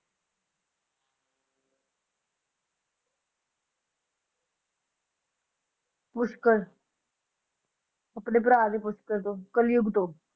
ਪੁਸ਼ਕਰ ਆਪਣੇ ਭਰਾ ਦੇ ਪੁਸ਼ਕਰ ਤੋਂ ਕਲਯੁੱਗ ਤੋਂ